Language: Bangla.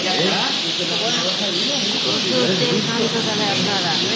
প্রচুর তেল খান তো তাহলে আপনারা